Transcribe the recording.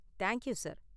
Thank you, sir.